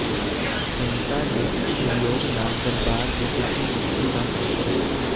ਸੰਗਤਾਂ ਦੇ ਸਹਿਯੋਗ ਨਾਲ ਦਰਬਾਰ ਦੀ ਦੂਜੀ ਮੰਜ਼ਿਲ ਦਾ ਕੰਮ ਸ਼ੁਰੂ